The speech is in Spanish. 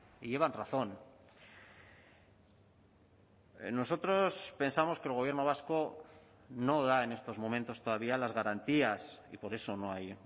y llevan razón nosotros pensamos que el gobierno vasco no da en estos momentos todavía las garantías y por eso no hay